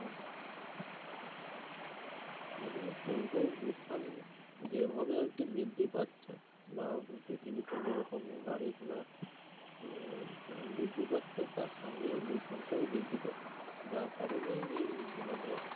পরিবেশ দূষণ যেভাবে আর কি বৃদ্ধি পাচ্ছে বা পৃথিবীতে যে রকম গাড়ি ঘোড়া উম বৃদ্ধি পাচ্ছে তার সঙ্গে দূষণটাও বৃদ্ধি পাচ্ছে যার কারনেই এই ধরনের্